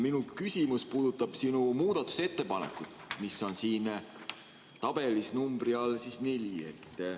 Minu küsimus puudutab sinu muudatusettepanekut, mis on siin tabelis nr 4 all.